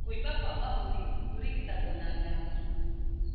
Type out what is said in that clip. Kũimba kwa mahũri kũrigitagwo na ndawa